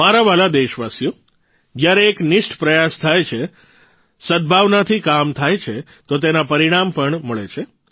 મારા વ્હાલા દેશવાસીઓ જયારે એક નિષ્ઠ પ્રયાસ થાય છે સદભાવનાથી કામ થાય છે તો તેના પરિણામ પણ મળે છે